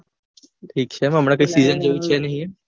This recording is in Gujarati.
ઠીક છે એમ હમણાં કઈ pm જેવું નહિ એમ